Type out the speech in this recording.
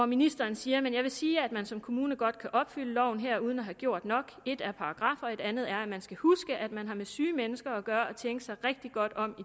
ministeren siger men jeg vil sige at man som kommune godt kan opfylde loven her uden at have gjort nok ét er paragraffer noget andet er at man skal huske at man har med syge mennesker at gøre og tænke sig rigtig godt om